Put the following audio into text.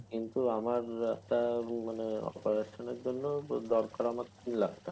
কিন্তু আমার একটা মানে operation এর জন্যে দরকার হলো তিন লাখ টাকা